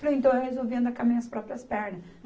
Falei, então eu resolvi andar com as minhas próprias pernas.